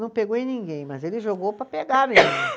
Não pegou em ninguém, mas ele jogou para pegar